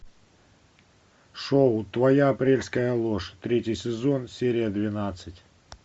шоу твоя апрельская ложь третий сезон серия двенадцать